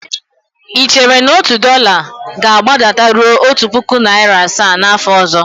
Ị chere na otu dọla ga-agbadataruo otu puku naịra asaa n'afọ ọzọ?